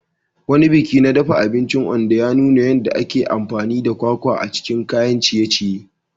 Wani biki na dafa abinci a Ondo ya nuna yadda ake amfani da kwakwa a cikin kayan ciye-ciye.